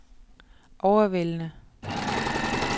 overvældende